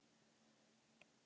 Ég er því bara nokk kúl.